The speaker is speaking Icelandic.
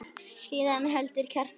Síðan heldur Kjartan áfram